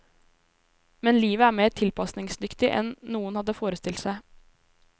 Men livet er mer tilpasningsdyktig enn noen hadde forestilt seg.